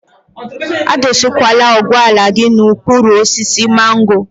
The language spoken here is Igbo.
A dọsakwala ụgbọala gị n'okpuru osisi mango.